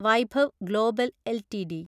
Vaibhav global LTD